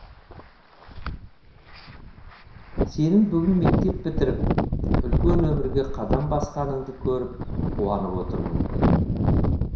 сенің бүгін мектеп бітіріп үлкен өмірге қадам басқаныңды көріп қуанып отырмын